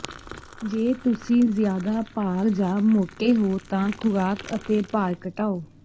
ਜੇ ਤੁਸੀਂ ਜ਼ਿਆਦਾ ਭਾਰ ਜਾਂ ਮੋਟੇ ਹੋ ਤਾਂ ਖੁਰਾਕ ਅਤੇ ਭਾਰ ਘਟਾਓ